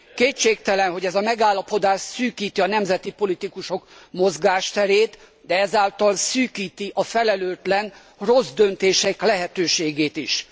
Kétségtelen, hogy ez a megállapodás szűkíti a nemzeti politikusok mozgásterét, de ezáltal szűkíti a felelőtlen, rossz döntések lehetőségét is.